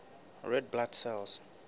red blood cells